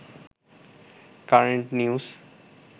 current news